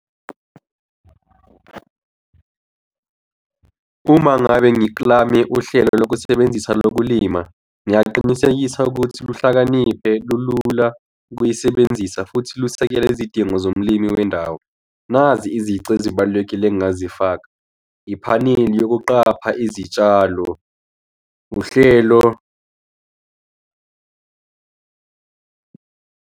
Uma ngabe ngiklame uhlelo lokusebenzisa lokulima, ngingaqinisekisa ukuthi luhlakaniphe lulula ukuyisebenzisa futhi lusekele izidingo zolimi wendawo. Nazi izici ezibalulekile engingazifaka. Iphaneli yokuqapha izitshalo, uhlelo.